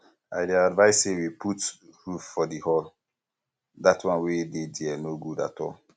i dey advice say we put um roof for the hall um dat wan wey dey there no good at all um